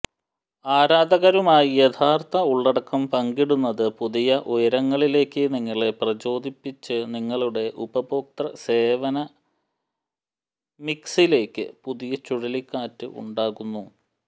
ആരാധകരുമായി യഥാർത്ഥ ഉള്ളടക്കം പങ്കിടുന്നത് പുതിയ ഉയരങ്ങളിലേക്ക് നിങ്ങളെ പ്രചോദിപ്പിച്ച് നിങ്ങളുടെ ഉപഭോക്തൃ സേവന മിക്സിലേക്ക് പുതിയ ചുഴലിക്കാറ്റ് ഉണ്ടാക്കുന്നു